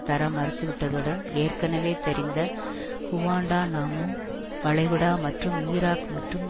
தர மறுத்துவிட்டதுடன் ஏற்கனவே தெரிந்த குவாண்டாநாமோ வளைகுடா மற்றும் ஈராக் மற்றும்